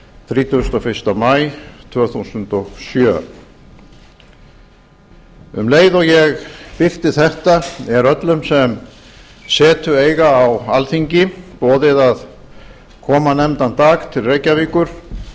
þrítugasta og fyrsta maí tvö þúsund og sjö um leið og ég birti þetta er öllum sem setu eiga á alþingi boðið að koma nefndan dag til reykjavíkur